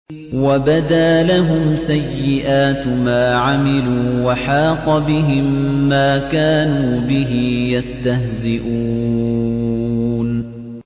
وَبَدَا لَهُمْ سَيِّئَاتُ مَا عَمِلُوا وَحَاقَ بِهِم مَّا كَانُوا بِهِ يَسْتَهْزِئُونَ